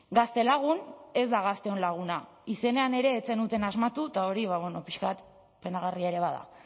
gaztelagun ez da gazteon laguna izenean ere ez zenuten asmatu eta hori ba bueno pixka bat penagarria ere bada